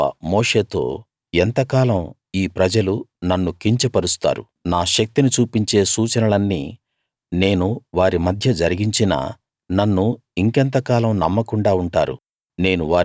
యెహోవా మోషేతో ఎంతకాలం ఈ ప్రజలు నన్ను కించపరుస్తారు నా శక్తిని చూపించే సూచనలన్నీ నేను వారి మధ్య జరిగించినా నన్ను ఇంకెంతకాలం నమ్మకుండా ఉంటారు